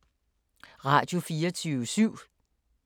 Radio24syv